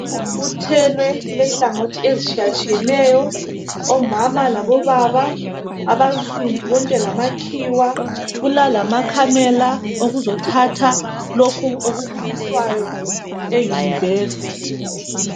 Kubuthwene kule hlangothi ezitshiyetshiyeneyo omama labo baba abansundu bonke lamakhiwa kulalama khamela ukuzothatha okubukiswayo e Univesithi.